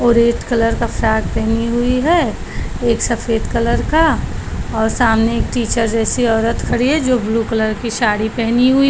और red colour frock पहनी हुई है एक सफ़ेद कलर का और सामने एक टीचर जैसी ओरत खड़ी है जो ब्लू कलर की साड़ी पहनी हुई --